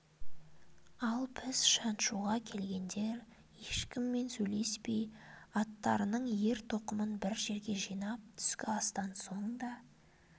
ал біз шаншуға келгендер ешкіммен сөйлеспей аттарының ер тоқымын бір жерге жинап түскі астан соң да